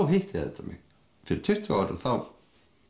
hitti þetta mig fyrir tuttugu árum þá